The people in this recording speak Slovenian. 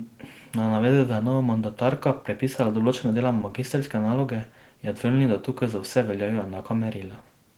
Na navedbe, da je nova mandatarka prepisala določene dele magistrske naloge, je odvrnil, da tukaj za vse veljajo enaka merila.